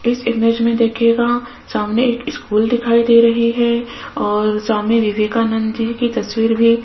इस इमेज में देखिएगा सामने एक स्कूल दिखाई दे रही है और स्वामी विवेकानंद जी की तस्वीर भी --